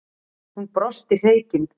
Hún brosti hreykin.